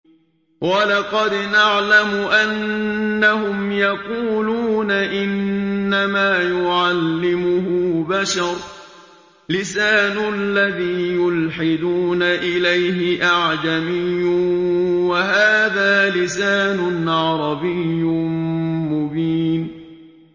وَلَقَدْ نَعْلَمُ أَنَّهُمْ يَقُولُونَ إِنَّمَا يُعَلِّمُهُ بَشَرٌ ۗ لِّسَانُ الَّذِي يُلْحِدُونَ إِلَيْهِ أَعْجَمِيٌّ وَهَٰذَا لِسَانٌ عَرَبِيٌّ مُّبِينٌ